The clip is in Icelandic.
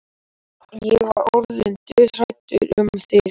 Ég var orðin dauðhrædd um þig,